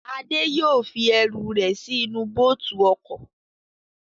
Adé yóò fi ẹrù rẹ̀ sí inú bóòtù ọkọ̀